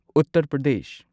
Uttar Pradesh